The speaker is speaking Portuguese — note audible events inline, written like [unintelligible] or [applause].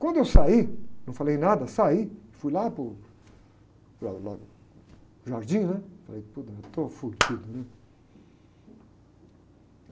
Quando eu saí, não falei nada, saí, fui lá para o, para o, [unintelligible] o jardim, né? Falei, [unintelligible] estou. [unintelligible]